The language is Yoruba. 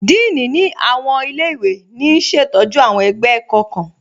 Dííní ni awọn ilẹ̀-iwe ní ṣetọju awọn ẹgbẹ ẹ̀kọ̀ kan.